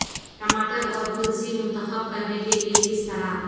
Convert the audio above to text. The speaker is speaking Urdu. ٹماٹر اور تلسی منتخب کرنے کے لئے کس طرح